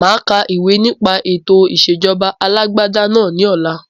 Máa ka ìwé nipe ètò ìsèjọba alàgbàda náà ni ọ̀la